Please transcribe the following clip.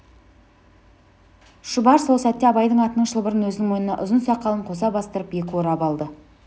шұбар сол сәтте абайдың атының шылбырын өзінің мойнына ұзын сақалын қоса бастырып екі орап алды